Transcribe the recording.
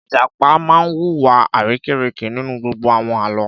Ìjàpá máa wu wa arérekè nínú gbogbo àwọn Àlọ́.